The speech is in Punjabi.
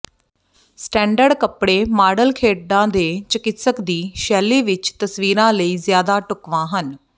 ਸਟੈਂਡਰਡ ਕਪੜੇ ਮਾਡਲ ਖੇਡਾਂ ਦੇ ਚਿਕਿਤਸਕ ਦੀ ਸ਼ੈਲੀ ਵਿਚ ਤਸਵੀਰਾਂ ਲਈ ਜ਼ਿਆਦਾ ਢੁਕਵਾਂ ਹਨ